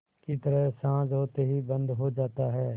की तरह साँझ होते ही बंद हो जाता है